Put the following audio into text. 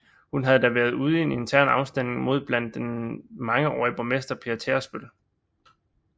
Hun havde da været ude i en intern afstemning mod blandt andet den mangeårige borgmester Per Tærsbøl